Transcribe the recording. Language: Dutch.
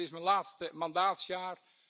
Het is mijn laatste mandaatsjaar.